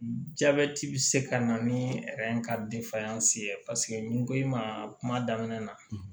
Jabɛti bi se ka na ni ka ye ni n ko i ma kuma daminɛ na